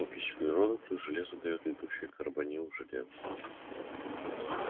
окись углерода плюс железо даёт летучий карбонил железа